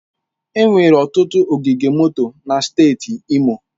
Enwere ọtụtụ ogige moto na steeti Imo.